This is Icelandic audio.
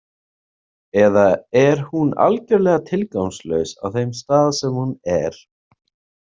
Eða er hún algjörlega tilgangslaus á þeim stað sem hún er?